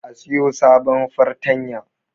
A siyo sabon fartanya